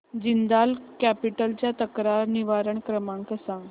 Jindal capital चा तक्रार निवारण क्रमांक सांग